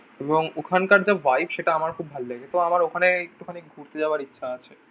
এবং ওখানকার যা ভাইভ সেটা আমার খুব ভালো লাগে। তো আমার ওখানে একটুখানি ঘুরতে যাওয়ার ইচ্ছা আছে।